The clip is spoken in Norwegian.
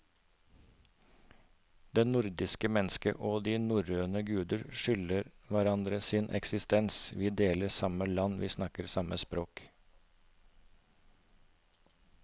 Det nordiske mennesket og de norrøne guder skylder hverandre sin eksistens, vi deler samme land, vi snakker samme språk.